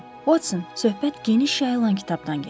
Uotson, söhbət geniş yayılan kitabdan gedir.